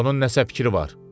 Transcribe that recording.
Onun nəsə fikri var.